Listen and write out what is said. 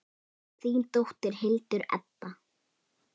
Þín dóttir, Hildur Edda.